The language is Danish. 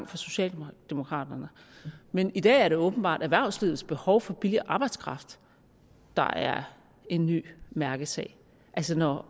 for socialdemokraterne men i dag er det åbenbart erhvervslivets behov for billig arbejdskraft der er en ny mærkesag altså når